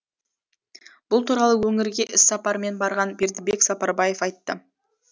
бұл туралы өңірге іссапармен барған бердібек сапарбаев айтты